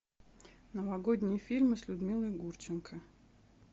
новогодние фильмы с людмилой гурченко